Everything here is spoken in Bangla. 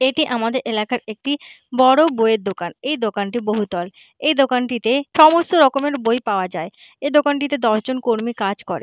এটি আমাদের এলাকার একটি বড় বইয়ের দোকান। এই দোকানটি বহুতল। এই দোকানটিতে সমস্ত রকমের বই পাওয়া যায় । এই দোকানটিতে দশ জন কর্মী কাজ করে ।